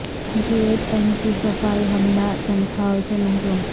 جی H M C صفائی عملہ تنخواہوں سے محروم